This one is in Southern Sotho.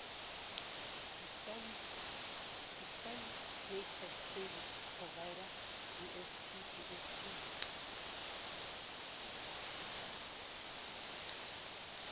designated service provider dsp dsp